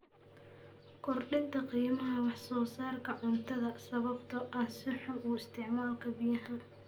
Kordhinta qiimaha wax soo saarka cuntada sababtoo ah si xun u isticmaalka biyaha.